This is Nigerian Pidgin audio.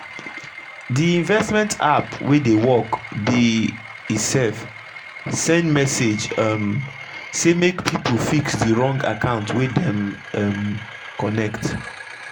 d investment app wey dey work be e sef send message um sey make pipu fix d wrong account wey dem um connect.